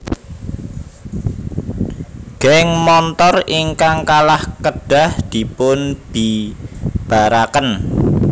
Geng montor ingkang kalah kedah dipun bibaraken